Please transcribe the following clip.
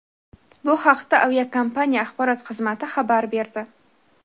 Bu haqda aviakompaniya axborot xizmati xabar berdi.